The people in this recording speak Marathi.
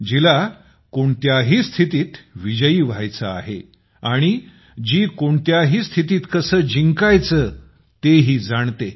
जिला जी कोणत्याही स्थितीत विजयी होव्हायचं आहे आणि जी कोणत्याही स्थितीत जिंकायचं कसं तेही जाणते